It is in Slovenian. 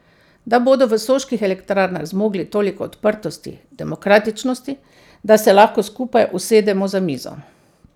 Da bodo v Soških elektrarnah zmogli toliko odprtosti, demokratičnosti, da se lahko skupaj usedemo za mizo.